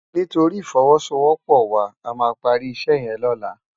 Nitóri ifòwòsówòpò wá àmá pàri isè yèn lòlá